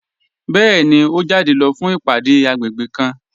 Bẹẹni, o jáde lọ fún ìpádé agbègbè kàn.